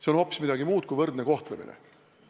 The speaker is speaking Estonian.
See on hoopis midagi muud kui võrdse kohtlemise küsimus.